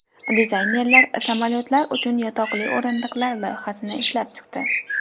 Dizaynerlar samolyotlar uchun yotoqli o‘rindiqlar loyihasini ishlab chiqdi.